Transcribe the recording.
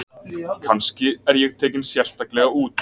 Kannski er ég tekinn sérstaklega út.